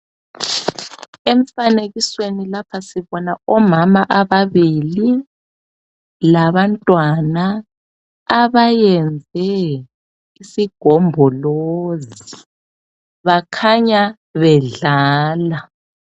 Emfanekisweni lapha sibona omama ababili labantwana abeyenze isigombolozi bakhanya bedlala.